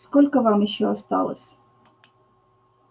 сколько вам ещё осталось